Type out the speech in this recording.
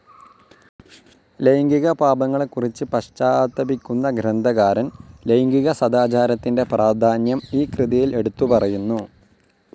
ലൈംഗിക പാപങ്ങളെക്കുറിച്ച് പശ്ചാത്താപിക്കുന്ന ഗ്രന്ഥകാരൻ, ലൈംഗിക സദാചാരത്തിന്റെ പ്രാധാന്യം ഈ കൃതിയിൽ എടുത്തുപറയുന്നു.